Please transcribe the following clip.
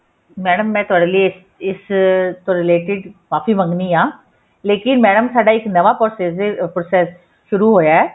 madam ਮੈਂ ਤੁਹਾਡੇ ਇਸ ਤੋਂ related ਮਾਫ਼ੀ ਮੰਗਦੀ ਹਾਂ ਲੇਕਿਨ mam ਸਾਡਾ ਨਵਾਂ process process ਸ਼ੁਰੂ ਹੋਇਆ